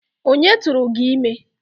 Onye tụụrụ gị ime?